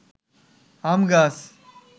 আম গাছ